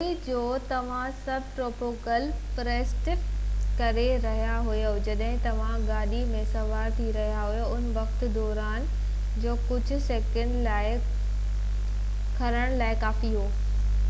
توڙي جو توهان سب ٽروپيڪل رين فوريسٽ وچان ڊرائيو ڪري رهيا هجو جڏهن توهان گاڏي ۾ سوار ٿي رهيا آهيو ان وقت دروازن جو ڪجهه سيڪنڊن لاءِ کُلڻ توهان جي گاڏي ۾ مڇر گهڙڻ لاءِ ڪافي وقت آهي